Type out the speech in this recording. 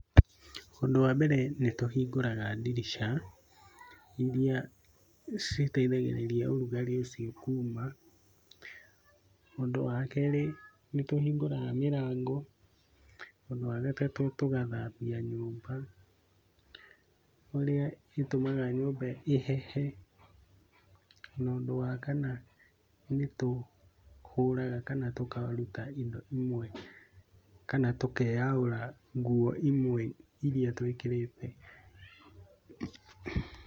Ũndũ wa mbere nĩtũhingũraga ndirica iria citethagĩrĩa ũrugarĩ ũcio kuuma. Ũndũ wakerĩ nĩtũhingũraga mĩrango. Ũndũ wagatatũ tũgathambia nyũmba ũrĩa ũtũmaga nyũmba ĩhehe. Na ũndũ wa kana nĩtũhũraga, kana tũkaruta indo imwe, kana tũkeyaũra nguo imwe iria tũĩkĩrĩte.